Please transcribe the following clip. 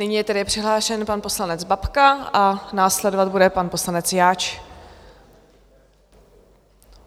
Nyní je tedy přihlášen pan poslanec Babka a následovat bude pan poslanec Jáč.